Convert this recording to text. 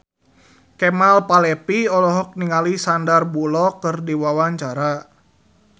Kemal Palevi olohok ningali Sandar Bullock keur diwawancara